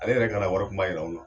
Ale yɛrɛ kana wari Kunba Yira anw na.